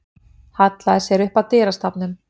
Hallaði sér upp að dyrastafnum.